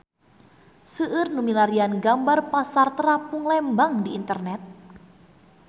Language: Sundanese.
Seueur nu milarian gambar Pasar Terapung Lembang di internet